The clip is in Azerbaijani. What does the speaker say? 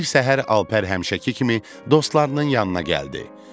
Bir səhər Alper həmişəki kimi dostlarının yanına gəldi.